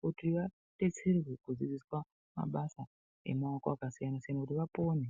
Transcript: kuti vadetserwe kudzidziswa mabasa emaoko akasiyana-siyana kuti vapone.